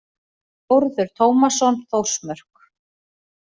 Þórður Tómasson, Þórsmörk.